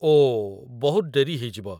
ଓଃ, ବହୁତ ଡେରି ହେଇଯିବ ।